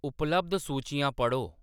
उपलब्ध सूचियां पढ़ो